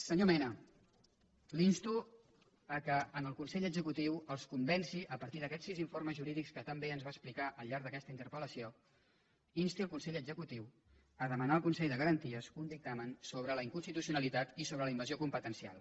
senyor mena l’insto que en el consell executiu els convenci a partir d’aquests sis informes jurídics que tan bé ens va explicar al llarg d’aquesta interpelconsell de garanties un dictamen sobre la inconstitucionalitat i sobre la invasió competencial